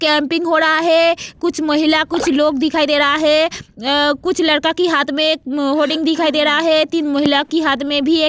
Camping हो रहा है कुछ महिला कुछ लोग दिखाई दे रहा है कुछ लड़का के हाथ में होडिंग दिखाई दे रहा है तीन महिला के हाथ में भी.